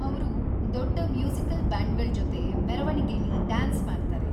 ಅವ್ರು ದೊಡ್ಡ ಮ್ಯೂಸಿಕಲ್‌ ಬ್ಯಾಂಡ್ಗಳ್ ಜೊತೆ ಮೆರವಣಿಗೆಲಿ ಡ್ಯಾನ್ಸ್‌ ಮಾಡ್ತಾರೆ.